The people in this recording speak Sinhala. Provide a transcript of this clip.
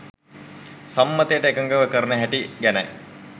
සම්මතයට එකඟව කරන හැටි ගැනයි.